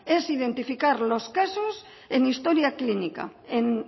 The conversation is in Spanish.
es identificar los casos en historia clínica en